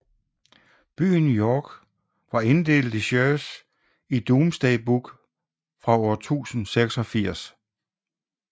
Byen York var inddelt i shires i Domesday Book fra 1086